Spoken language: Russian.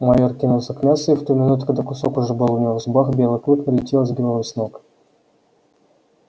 майор кинулся к мясу и в ту минуту когда кусок уже был у него в зубах белый клык налетел и сбил его с ног